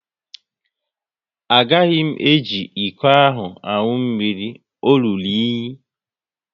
A gaghị m eji ịkọ ahụ aṅụ mmiri, o rụrụ unyi